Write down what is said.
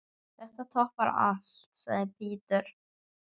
Þetta toppar allt, sagði Peter.